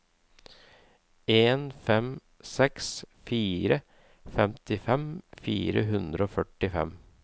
en fem seks fire femtifem fire hundre og førtifem